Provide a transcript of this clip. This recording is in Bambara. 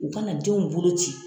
U ka na denw bolo ci.